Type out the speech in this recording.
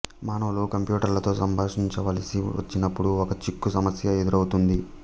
మానవులు కంప్యూటర్లతో సంభాషించవలసి వచ్చినప్పుడు ఒక చిక్కు సమశ్య ఎదురవుతుంది